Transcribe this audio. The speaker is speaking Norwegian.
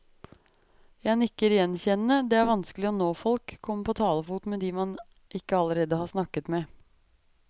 Jeg nikker gjenkjennende, det er vanskelig å nå folk, komme på talefot med de man ikke allerede har snakket med.